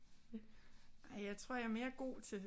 Ej jeg tror jeg er mere god til